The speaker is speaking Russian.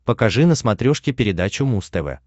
покажи на смотрешке передачу муз тв